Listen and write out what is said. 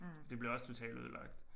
Det bliver også totalt ødelagt